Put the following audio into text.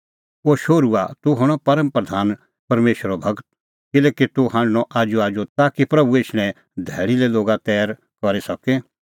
ओ शोहरूआ तूह हणअ परम प्रधान परमेशरो गूर किल्हैकि तूह हांढणअ आजूआजू ताकि प्रभू एछणें धैल़ी लै लोगा तैर करी सके